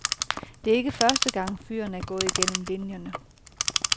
Det er ikke første gang, fyren er gået igennem linierne.